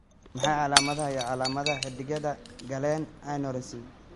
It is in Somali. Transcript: Waa maxay calaamadaha iyo calaamadaha xididdada Galen aneurysm?